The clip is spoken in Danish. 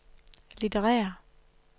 litterære